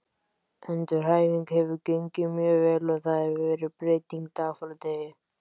Endurhæfingin hefur gengið mjög vel og það hefur verið breyting dag frá degi.